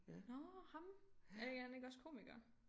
Nåh ham er han ikke også komiker